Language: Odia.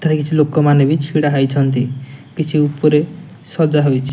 ଏଠାରେ କିଛି ଲୋକମାନେ ବି ଛିଡ଼ା ହେଇଛନ୍ତି। କିଛି ଉପରେ ସଜା ହୋଇଛି।